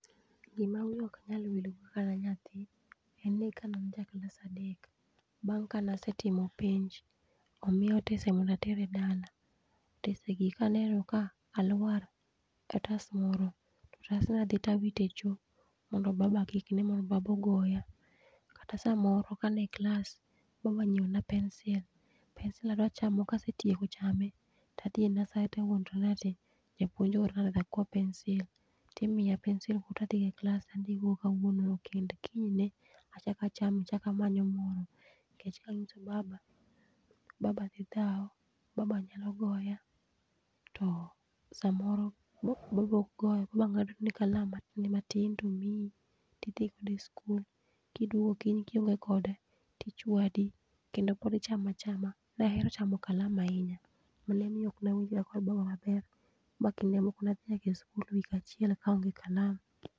Gima wiya ok nyal wilgo, kane anyathi en ni kane ajaklas adek bang' kane asetimo penj, omiya otese mondo ater e dala otesegi kaneno ka aluar e otas moro, to otasno adhi to awito e cho mondo baba kik ne mondo baba ogoya. Kata samoro ka an e klas baba onyiewona pensil, pensil achamo kasetieko chame to adhi e nursery to awuondora ni japuonj oora mondo akwa pensil. Imiya pensil to adhigo e klas, adhigo kawuono kende kiny ne achako achame amanyo moro nikech kanyiso baba, baba dhi dhaw baba nyalo goya. To samoro nyalo ng'adni kalam matin to imiyi idhi go sikul to kiduogo kiny kionge kode to ichwadi kendo pod ichamo achama. Ne ahero chamo kalam ahinya mane omiyo ok anyal kwayo babawa pesa makinde moko ne adhi nyaka sikul wik achiel ka aonge kalam.